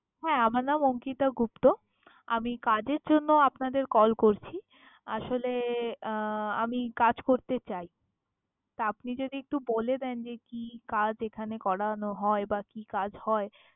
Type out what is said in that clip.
হ্যা, আমার নাম অঙ্কিতা গুপ্ত। আমি কাজের জন্য আপনাদের call করছি। আসলে আহ আমি কাজ করতে চাই। তা আপনি যদি একটু বলে দেন যে কি কাজ এখানে করানো হয় বা কি কাজ হয়